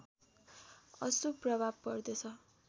अशुभ प्रभाव पर्दछ